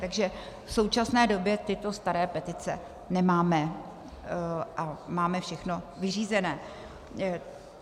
Takže v současné době tyto staré petice nemáme a máme všechno vyřízené.